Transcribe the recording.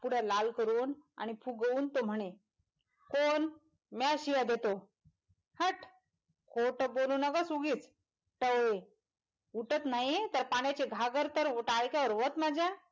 तोंड लाल करून आणि फुगवून तो म्हणे कोण म्या शिव्या देतो हट्ट खोत बोलू नको उगीच टवळे उठत नाही तर पाण्याची घागर तर उताय काय वत माझ्या.